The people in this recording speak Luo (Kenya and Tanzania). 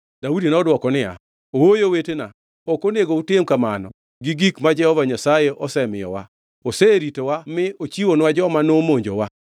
Daudi nodwoko niya, “Ooyo owetena, ok onego utim kamano gi gik ma Jehova Nyasaye osemiyowa. Oseritowa mi ochiwonwa joma nomonjowa.